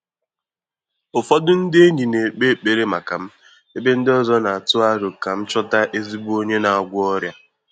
Ụ́fọ́dụ́ ndị́ ényì nà-ékpé ékpèré màkà m, ébé ndị́ ọ́zọ́ nà-àtụ́ àrò kà m chọ́tà ézígbo ọ́nyé nà-àgwọ́ ọ́rị́à.